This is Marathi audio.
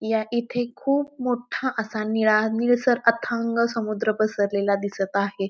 या इथे खूप मोठा असा नीळा निळसर अथांग समुद्र परसलेला दिसत आहे.